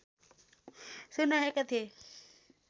सुनाएका थिए